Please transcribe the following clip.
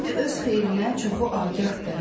İndi öz xeyrinə çoxu agahdır.